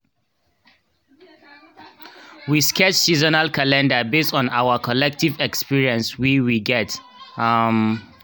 we sketch seasonal calendar based on our collective experience we we get um